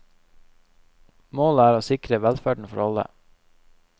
Målet er å sikre velferden for alle.